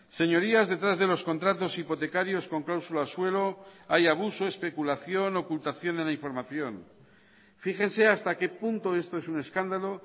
señorías detrás de los contratos hipotecarios con cláusula suelo hay abuso especulación ocultación en la información fíjense hasta qué punto esto es un escándalo